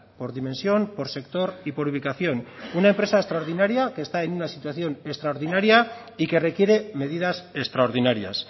por dimensión por sector y por ubicación una empresa extraordinaria que está en una situación extraordinaria y que requiere medidas extraordinarias